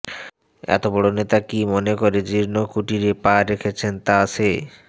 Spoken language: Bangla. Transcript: এতবড় নেতা কী মনে করে জীর্ণ কুটিরে পা রেখেছেন তা সে